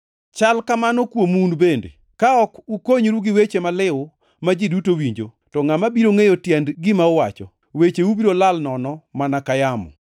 Chal kamano kuomu un bende. Ka ok ukonyoru gi weche maliw ma ji duto winjo, to ngʼama biro ngʼeyo tiend gima uwacho? Wecheu biro lal nono mana ka yamo!